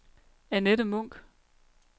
Annette Munk